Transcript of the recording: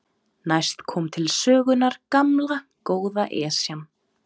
Næst kom til sögunnar gamla, góða Esjan.